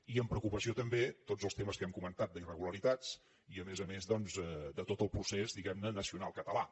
i amb preocupació també tots els temes que hem comentat d’irregularitats i a més a més doncs de tot el procés diguem ne nacional català